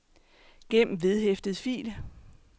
gem vedhæftet fil